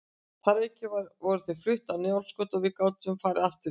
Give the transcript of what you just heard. Þar að auki voru þau flutt á Njálsgötu og við gátum því farið aftur í